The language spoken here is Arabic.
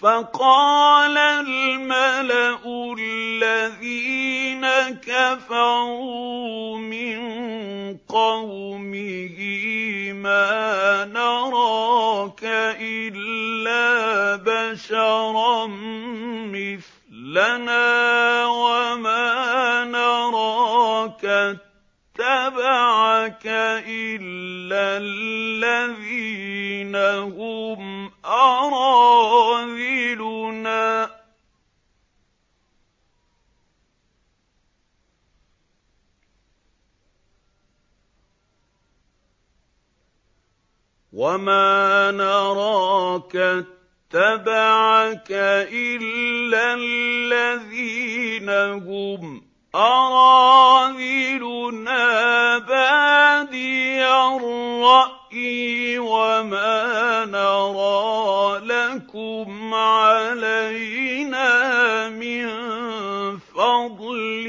فَقَالَ الْمَلَأُ الَّذِينَ كَفَرُوا مِن قَوْمِهِ مَا نَرَاكَ إِلَّا بَشَرًا مِّثْلَنَا وَمَا نَرَاكَ اتَّبَعَكَ إِلَّا الَّذِينَ هُمْ أَرَاذِلُنَا بَادِيَ الرَّأْيِ وَمَا نَرَىٰ لَكُمْ عَلَيْنَا مِن فَضْلٍ